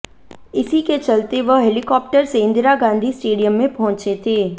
इसी के चलते वह हेलिकाप्टर से इंदिरा गांधी स्टेडियम में पहुंचे थे